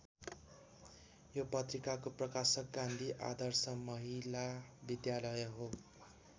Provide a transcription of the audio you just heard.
यो पत्रिकाको प्रकाशक गान्धी आदर्श महिला विद्यालय हो।